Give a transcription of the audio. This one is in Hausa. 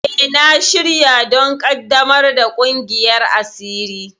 E, na shirya don ƙaddamar da ƙungiyar asiri.